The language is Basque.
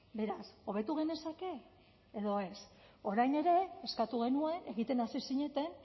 beraz hobetu genezake edo ez orain ere eskatu genuen egiten hasi zineten